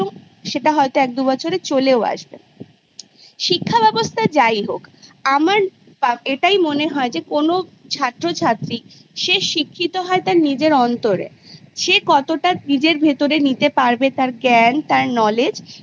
সেটা হয়তো একদুবছরে চলেও আসবে শিক্ষা ব্যবস্থা যাই হোক আমার এটাই মনে হয় যে কোনো ছাত্র ছাত্রী সে শিক্ষিত হয় তার নিজের অন্তরে সে কতটা নিজের ভেতরে নিতে পারবে তার জ্ঞান তার Knowledge